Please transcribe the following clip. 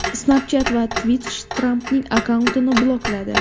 Snapchat va Twitch Trampning akkauntini blokladi.